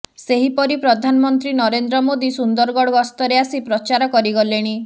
ସେହିପରି ପ୍ରଧାନମନ୍ତ୍ରୀ ନରେନ୍ଦ୍ର ମୋଦୀ ସୁନ୍ଦରଗଡ଼ ଗସ୍ତରେ ଆସି ପ୍ରଚାର କରିଗଲେଣି